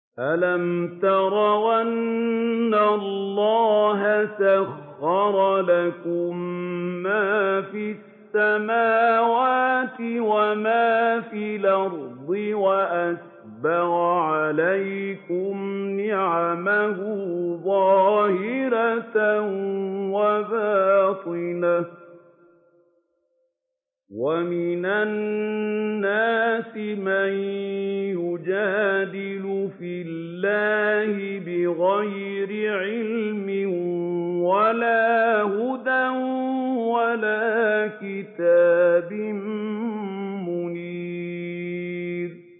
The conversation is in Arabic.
أَلَمْ تَرَوْا أَنَّ اللَّهَ سَخَّرَ لَكُم مَّا فِي السَّمَاوَاتِ وَمَا فِي الْأَرْضِ وَأَسْبَغَ عَلَيْكُمْ نِعَمَهُ ظَاهِرَةً وَبَاطِنَةً ۗ وَمِنَ النَّاسِ مَن يُجَادِلُ فِي اللَّهِ بِغَيْرِ عِلْمٍ وَلَا هُدًى وَلَا كِتَابٍ مُّنِيرٍ